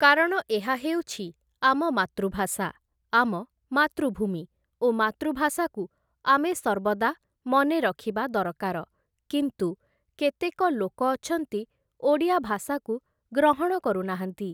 କାରଣ ଏହା ହଉଛି ଆମ ମାତୃଭାଷା, ଆମ ମାତୃଭୂମି ଓ ମାତୃଭାଷାକୁ ଆମେ ସର୍ବଦା ମନେରଖିବା ଦରକାର କିନ୍ତୁ କେତକ ଲୋକ ଅଛନ୍ତି ଓଡ଼ିଆ ଭାଷାକୁ ଗ୍ରହଣ କରୁନାହାନ୍ତି ।